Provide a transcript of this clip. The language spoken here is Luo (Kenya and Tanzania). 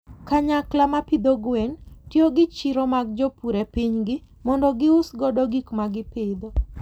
Kanyakla ma pidho gwen tiyo gi chiro mag jopur e pinygi mondo gius godo gik ma gipidho.